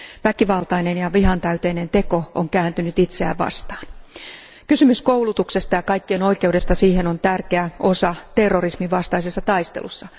Väkivaltainen ja vihantäyteinen teko on kääntynyt itseään vastaan. Kysymys koulutuksesta ja kaikkien oikeudesta siihen on tärkeä osa terrorismin vastaisessa taistelussa.